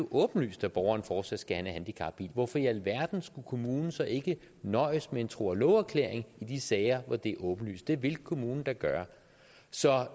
åbenlyst at borgeren fortsat skal have en handicapbil hvorfor i alverden skulle kommunen så ikke nøjes med en tro og love erklæring i de sager hvor det er åbenlyst det ville kommunen da gøre så